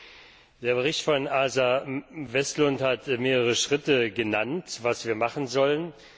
Im Bericht von Åsa Westlund wurden mehrere Schritte genannt, was wir machen sollen.